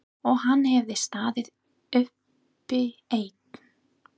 Og hann hafði staðið uppi einn.